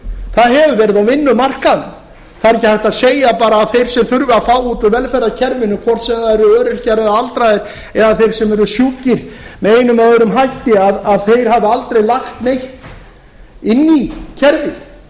það hefur verið á vinnumarkaðnum það er ekki hægt að segja bara að þeir sem þurfa að fá út úr velferðarkerfinu hvort sem það eru öryrkjar eða aldraðir eða þeir sem eru sjúkir með einum eða öðrum hætti hafi aldrei lagt neitt inn í kerfið